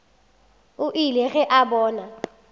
o ile ge a bona